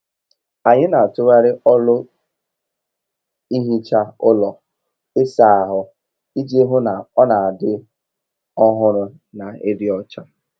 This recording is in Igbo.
Anyị n'atughari ọlụ ehicha ụlọ ịsa ahụ iji hụ na ọ n'adị ọhụrụ na ịdị ọcha.